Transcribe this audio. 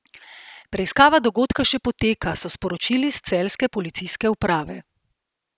Preiskava dogodka še poteka, so sporočili s celjske policijske uprave.